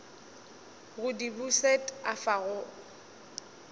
go di bušet afa o